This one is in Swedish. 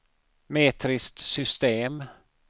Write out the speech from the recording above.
metriskt system